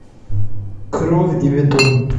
кровь и бетон